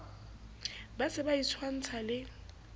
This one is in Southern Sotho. ba se ba itshwantsha le